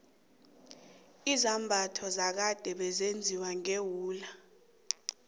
izambatho zakade bezenziwa ngewula